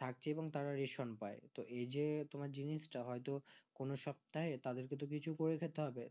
থাকছে এবং তারা রেশম পাই তো এই যে তোমার জিনিস তা হয় তো কোনো সপ্তাহে তাদের কে তো কিছু করে খেতে হবে